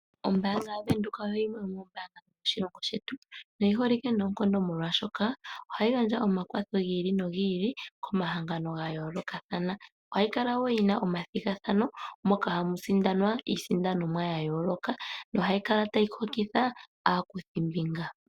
Ombaanga yaVenduka oyo yimwe yomoombanga dhomoshilongo shetu noyi holike noonkondo molwaashoka ohayi gandja omakwatho gi ili nogi ili komahangano ga yoolokathana. Ohayi kala wo yina omathigathano moka hamu sindanwa iisindanomwa ya yooloka nohayi kokitha aakuthimbinga.